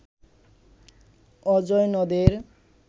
অজয় নদের